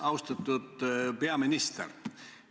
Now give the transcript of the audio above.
Austatud peaminister!